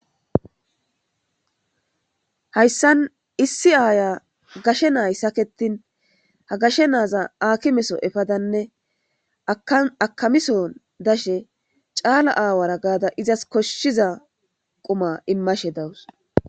Hayssan issi aaya gashe naay saketin ha gashe naaza akimeso efadanne akamison dashe caala aawara gaada izas koshshiza quma immashe dawus.